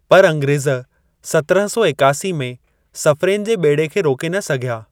पर अंग्रेज़ सतरहं सौ एकासी में सफ़्रेन जे ॿेड़े खे रोके न सघिया।